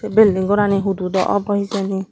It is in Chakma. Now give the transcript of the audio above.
sei belding gorani hudu dw obw hijeni.